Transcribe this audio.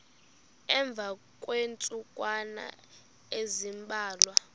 emva kweentsukwana ezimbalwa